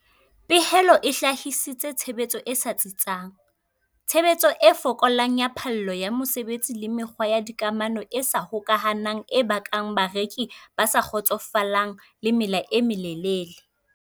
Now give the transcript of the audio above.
Pehelo e hlahisitse tshebetso e sa tsitsang, tshebetso e fokolang ya phallo ya mosebetsi le mekgwa ya dikamano e sa hokahanang e bakang bareki ba sa kgotsofalang le mela e melelele.